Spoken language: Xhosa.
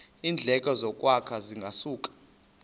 iindleko zokwakha zingasuka